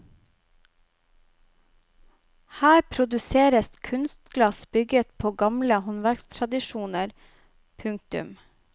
Her produseres kunstglass bygget på gamle håndverkstradisjoner. punktum